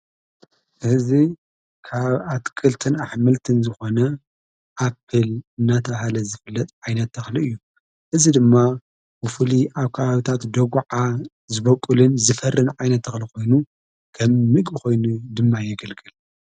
ሕዚ ካብ ኣትክልትን ኣሕምልትን ዝኾነ ኣፕል እናተብሃለ ዝፍለጥ ዓይነት ተኽሊ እዩ እዚ ድማ ብፍሉይ ኣብ ከባብታት ደጕዓ ዝበቁልን ዝፈርን ዓይነ ተኽሊ ኾይኑ ከም ምግ ኾይኑ ድማ የገልግል